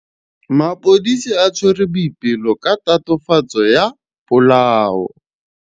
Maphodisa a tshwere Boipelo ka tatofatsô ya polaô.